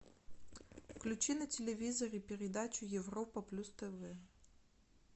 включи на телевизоре передачу европа плюс тв